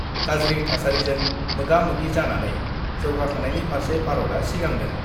गाज्रि थासारिजों मोगा-मोगि जानानै जौगाखांनायनि फार्से भारतआ सिगांदों।